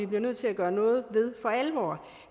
bliver nødt til at gøre noget ved